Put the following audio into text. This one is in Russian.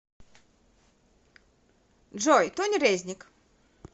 джой тони резник